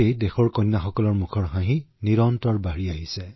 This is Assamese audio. আপোনাৰ কাৰণে দেশৰ কন্যাসকলৰ মুখৰ হাঁহি নিৰন্তৰে বৃদ্ধি পাইছে